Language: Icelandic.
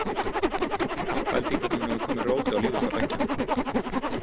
Pældu í hvernig hún hefur komið róti á líf okkar beggja.